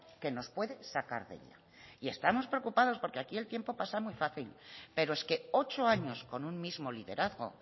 que nos puede sacar de ello estamos preocupados porque aquí el tiempo pasa muy fácil pero es que ocho años con un mismo liderazgo